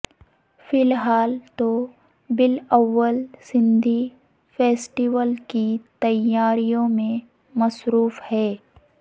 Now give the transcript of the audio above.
فی الحال تو بلاول سندھ فیسٹیول کی تیاریوں میں مصروف ہیں